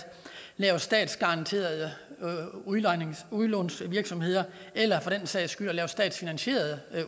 lave statsgaranteret udlånsvirksomhed eller for den sags skyld at lave statsfinansierede